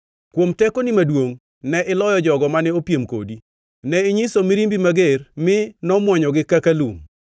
“Kuom tekoni maduongʼ, ne iloyo jogo mane opiem kodi. Ne inyiso mirimbi mager mi nomwonyogi kaka lum.